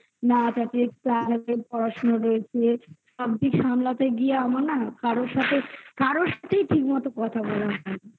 না থাকলে পড়াশোনা রয়েছে সবকিছু সামলাতে গিয়ে আমার না কারোর সাথে কারোর সাথেই ঠিক মতো কথা বলা হয়নি